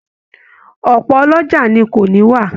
Ọpọ ọlọ́jà ni ko ni iwa